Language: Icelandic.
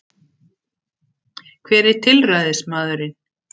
Hver er tilræðismaðurinn